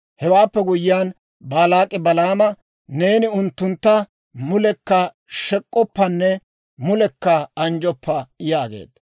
Hewaappe guyyiyaan, Baalaak'i Balaama, «Neeni unttuntta mulekka shek'k'oppanne mulekka anjjoppa» yaageedda.